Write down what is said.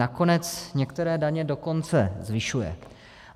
Nakonec některé daně dokonce zvyšuje.